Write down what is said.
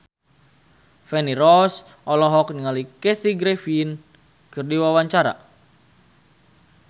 Feni Rose olohok ningali Kathy Griffin keur diwawancara